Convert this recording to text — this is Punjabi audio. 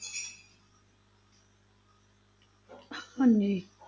ਹਾਂਜੀ।